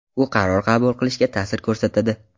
U qaror qabul qilishga ta’sir ko‘rsatadi.